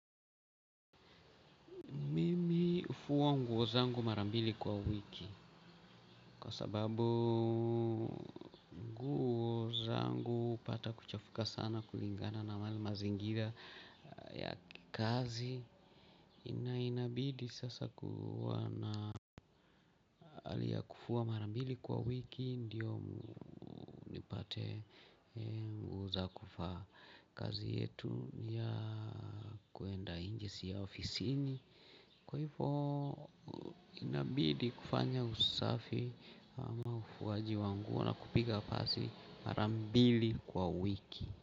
Mimi hufua nguo zangu mara mbili kwa wiki kwa sababu nguo zangu hupata kuchafuka sana kulingana na yale mazingira ya kazi. Inabidi sasa kuwa na hali ya kufua mara mbili kwa wiki ndio nipate nguo za kuvaa. Kazi yetu ni ya kuenda nje si ya ofisini. Kwa hivo inabidi kufanya usafi, ama ufuaji wa nguo na kupiga pasi mara mbili kwa wiki.